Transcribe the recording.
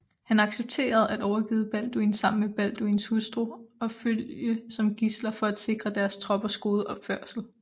Han accepterede at overgive Balduin sammen med Balduins hustru og følge som gidsler for at sikre deres troppers gode opførsel